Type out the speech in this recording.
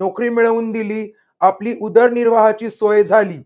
नोकरी मिळवून दिली. आपली उदरनिर्वाहाची सोय झाली.